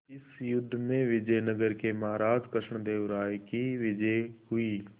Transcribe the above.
इस युद्ध में विजय नगर के महाराज कृष्णदेव राय की विजय हुई